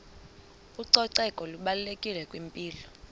ucoceko lubalulekile kwimpilo